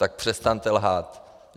Tak přestaňte lhát.